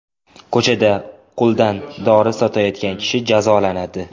Ko‘chada qo‘ldan dori sotayotgan kishi jazolanadi.